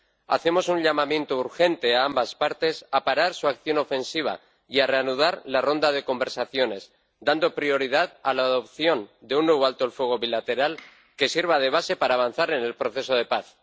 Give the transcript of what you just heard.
Hacemos un llamamiento urgente a ambas partes a parar su acción ofensiva y a reanudar la ronda de conversaciones, dando prioridad a la adopción de un nuevo alto el fuego bilateral que sirva de base para avanzar en el proceso de paz.